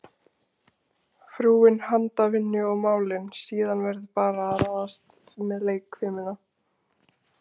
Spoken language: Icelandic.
Frúin handavinnu og málin, síðan verður bara að ráðast með leikfimina.